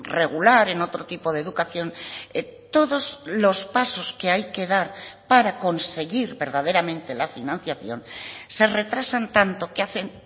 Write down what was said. regular en otro tipo de educación todos los pasos que hay que dar para conseguir verdaderamente la financiación se retrasan tanto que hacen